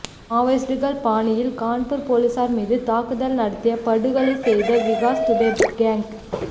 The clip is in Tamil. மாவோயிஸ்ட்டுகள் பாணியில் கான்பூர் போலீசார் மீது தாக்குதல் நடத்தி படுகொலை செய்த விகாஸ் துபே கேங்